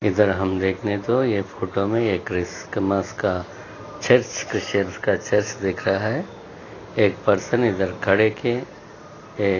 इधर हम देखने तो यह फोटो में क्रिसमस का चर्च ख्रीचन का चर्च दिख रहा है एक पर्सन इधर खड़े के--